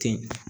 Ten